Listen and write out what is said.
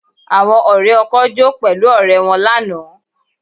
Àwọn ọ̀rẹ́ ọkọ jó pẹ̀lú ọ̀rẹ́ wọn lánàá